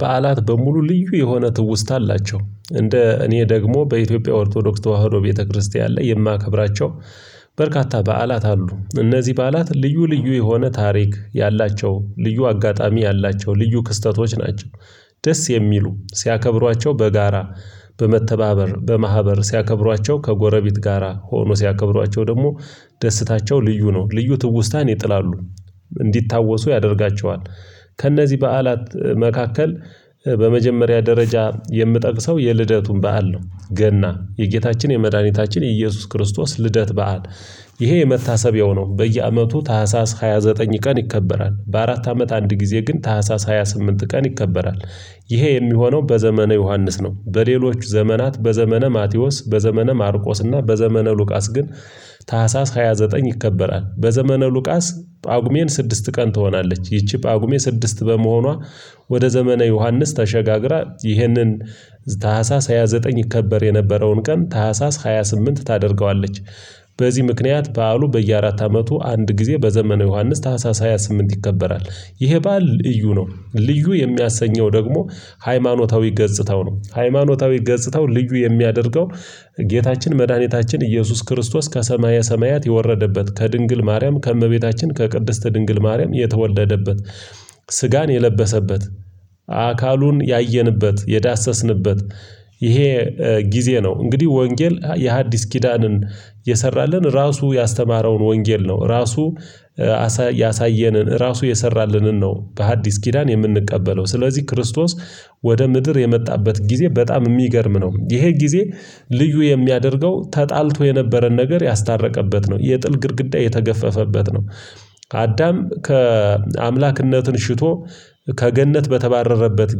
በዓላት በሙሉ ልዩ የሆነ ትውስታ አላቸው እንደ እኔ ደግሞ በኢትዮጵያ ኦርቶዶክስ ተዋህዶ ቤተክርስቲያን ላይ የማከብራቸው በርካታ በዓላት አሉ። እነዚህ በዓላት ልዩ ልዩ የሆነ ታሪክ ያላቸው ልዩ አጋጣሚ ያላቸው ልዩ ክስተቶች ናቸው። ደስ የሚሉ ሲያከብሯቸው በጋራ በመተባበር በማህበር ሲያከብሯቸው ከጎረቤት ጋራ ሆኖ ሲያከብሯቸው ደግሞ ደስታቸው ልዩ ነው ልዩ ትውስታን ይጥላሉ እንዲታወሱ ያደርጋቸዋል። ከእነዚህ በዓላት መካከል በመጀመሪያ ደረጃ የምጠቅሰው የልደቱን በዓል ነው። ገና የጌታችን የመድኃኒታችን የኢየሱስ ክርስቶስ ልደት በዓል ይሄ የመታሰቢያው ነው በየአመቱ ታህሳስ ሃያ ዘጠኝ ቀን ይከበራል። በአራት አመት አንድ ጊዜ ግን ታህሳስ ሃያ ስምንት ቀን ይከበራል። ይሄ የሚሆነው በዘመነ ዮሐንስ ነው። በሌሎች ዘመናት በዘመነ ማቴዎስ በዘመነ ማርቆስ እና በዘመነ ሉቃስ ግን ታህሳስ ሃያ ዘጠኝ ይከበራል። በዘመነ ሉቃስ ጳጉሜን ስድስት ቀን ትሆናለች። ይቺ ጳጉሜ ስድስት በመሆኗ ወደ ዘመነ ዮሐንስ ተሸጋግራ ይህንን ታህሳስ ሃያ ዘጠኝ ይከበር የነበረውን ቀን ታህሳስ ሃያ ስምንት ታደርገዋለች። በዚህ ምክንያት በዓሉ በየአራት አመቱ አንድ ጊዜ በዘመነ ዮሐንስ ታህሳስ ሃያ ስምንት ይከበራል። ይሄ በዓል እዩ ነው ልዩ የሚያሰኘው ደግሞ ሃይማኖታዊ ገጽታው ነው። ሃይማኖታዊ ገጽታው ልዩ የሚያደርገው ጌታችን መድኃኒታችን ኢየሱስ ክርስቶስ ከሰማየ ሰማያት የወረደበት ከድንግል ማርያም ከእመቤታችን ከቅድስት ድንግል ማርያም የተወለደበት። ስጋን የለበሰበት አካሉን ያየንበት የዳሰስንበት። ይሄ ጊዜ ነው። እንግዲህ ወንጌል የሐዲስ ኪዳንን የሰራልን ራሱ ያስተማረውን ወንጌል ነው። ራሱ ያሳየንን ራሱ የሰራልንን ነው። በሐዲስ ኪዳን የምንቀበለው ስለዚህ ክርስቶስ ወደ ምድር የመጣበት ጊዜ በጣም የሚገርም ነው። ይሄ ጊዜ ልዩ የሚያደርገው ተጣልቶ የነበረን ነገር ያስታረቀበት ነው የጥል ግድግዳ የተገፈፈበት ነው። አዳም ከአምላክነትን ሽቶ ከገነት በተባረረበት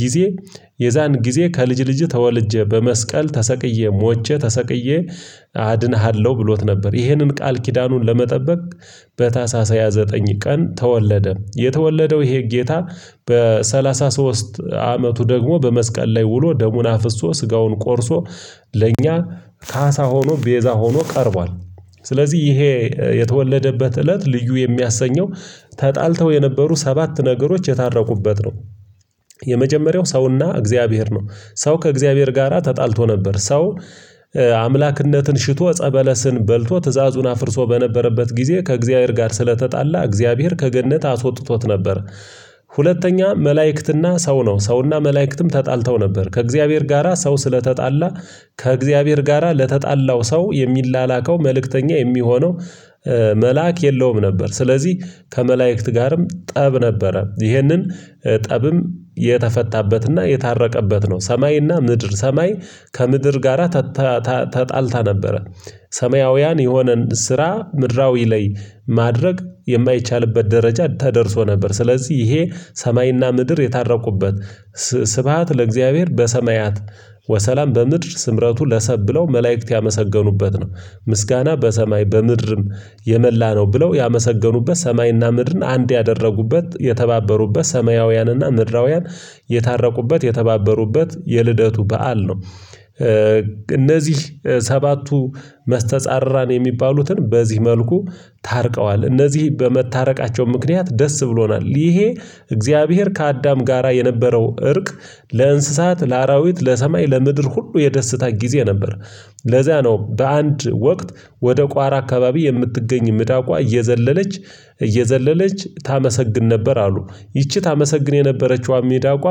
ጊዜ የዛን ጊዜ ከልጅ ልጅህ ተወልጄ በመስቀል ተሰቅዬ ሞቼ ተሰቅዬ አድንሃለሁ ብሎት ነበር። ይህንን ቃል ኪዳኑን ለመጠበቅ በታህሳስ ሃያ ዘጠኝ ቀን ተወለደ። የተወለደው ይሄ ጌታ በሰላሳ ሶስት አመቱ ደግሞ በመስቀል ላይ ውሎ ደሙን አፍሶ ስጋውን ቆርሶ ለእኛ ካሳ ሆኖ ቤዛ ሆኖ ቀርቧል። ስለዚህ ይሄ የተወለደበት እለት ልዩ የሚያሰኘው ተጣልተው የነበሩ ሰባት ነገሮች የታረቁበት ነው። የመጀመሪያው ሰውና እግዚአብሔር ነው። ሰው ከእግዚአብሔር ጋራ ተጣልቶ ነበር ሰው አምላክነትን ሽቶ ጸበለስን በልቶ ትዕዛዙን አፍርሶ በነበረበት ጊዜ ከእግዚአብሔር ጋር ስለተጣላ እግዚአብሔር ከገነት አስወጥቶት ነበር። ሁለተኛ መላእክትና ሰው ነው። ሰውና መላእክትም ተጣልተው ነበር ከእግዚአብሔር ጋራ ሰው ስለተጣላ ከእግዚአብሔር ጋራ ለተጣላው ሰው የሚላላከው መልእክተኛ የሚሆነው መልአክ የለውም ነበር። ስለዚህ ከመላእክት ጋርም ጠብ ነበረ ይህንን ጠብም የተፈታበትና የታረቀበት ነው። ሰማይና ምድር ሰማይ ከምድር ጋራ ተጣልታ ነበረ። ሰማያውያን የሆነን ስራ ምድራዊ ላይ ማድረግ የማይቻልበት ደረጃ ተደርሶ ነበር ስለዚህ ይሄ ሰማይና ምድር የታረቁበት ስብሃት ለእግዚአብሔር በሰማያት ወሰላም በምድር ስምረቱ ለሰብ ብለው መላእክት ያመሰገኑበት ነው። ምስጋና በሰማይ በምድርም የመላ ነው ብለው ያመሰገኑበት ሰማይና ምድርን አንድ ያደረጉበት የተባበሩበት ሰማያውያንና ምድራውያን የታረቁበት የተባበሩበት የልደቱ በዓል ነው። እነዚህ ሰባቱ መስተጻራን የሚባሉትን በዚህ መልኩ ታርቀዋል። እነዚህ በመታረቃቸው ምክንያት ደስ ብሎናል። ይሄ እግዚአብሔር ከአዳም ጋራ የነበረው እርቅ ለእንስሳት ለአራዊት ለሰማይ ለምድር ሁሉ የደስታ ጊዜ ነበር። ለዚያ ነው በአንድ ወቅት ወደ ቋራ አካባቢ የምትገኝ ሚዳቋ እየዘለለች እየዘለለች ታመሰግን ነበር አሉ። ይቺ ታመሰግን የነበረችው ሚዳቋ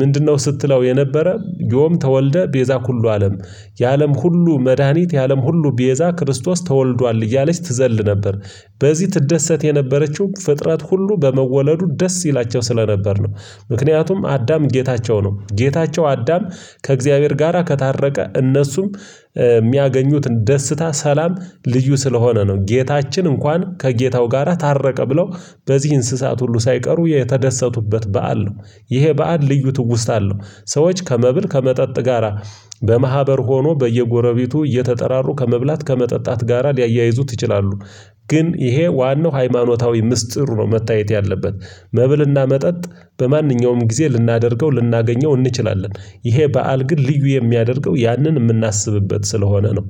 ምንድነው? ስትለው የነበረ ዮም ተወልደ ቤዛ ኩሉ አለም የአለም ሁሉ መድሃኒት የአለም ሁሉ ቤዛ ክርስቶስ ተወልዷል እያለች ትዘል ነበር። በዚህ ትደሰት የነበረችው ፍጥረት ሁሉ በመወለዱ ደስ ይላቸው ስለነበር ነው። ምክንያቱም አዳም ጌታቸው ነው። ጌታቸው አዳም ከእግዚአብሔር ጋራ ከታረቀ እነሱም የሚያገኙት ደስታ ሰላም ልዩ ስለሆነ ነው። ጌታችን እንኳን ከጌታው ጋራ ታረቀ ብለው በዚህ እንስሳት ሁሉ ሳይቀሩ የተደሰቱበት በዓል ነው። ይሄ በዓል ልዩ ትውስታ አለሁ ሰዎች ከመብል ከመጠጥ ጋራ በማህበር ሆኖ በየጎረቤቱ እየተጠራሩ ከመብላት ከመጠጣት ጋራ ሊያያይዙት ይችላሉ። ግን ይሄ ዋናው ሃይማኖታዊ ምስጢር ነው። መታየት ያለበት። መብልና መጠጥ በማንኛውም ጊዜ ልናደርገው ልናገኘው እንችላለን። ይሄ በዓል ግን ልዩ የሚያደርገው ያንን የምናስብበት ስለሆነ ነው